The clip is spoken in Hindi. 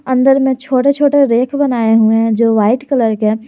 अंदर में छोटे छोटे रैक बनाए हुए हैं जो व्हाइट कलर के--